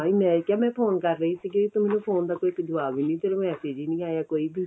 ਤਾਂਹੀ ਮੈਂ ਕਿਹਾ ਮੈਂ phone ਕਰ ਰਹੀ ਸੀਗੀ ਤੂੰ ਮੈਨੂੰ phone ਦਾ ਕੋਈ ਜਵਾਬ ਨਹੀਂ ਕੋਈ message ਹੀ ਨਹੀਂ ਆਇਆ ਕੋਈ ਵੀ